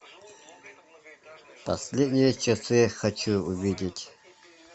последние часы хочу увидеть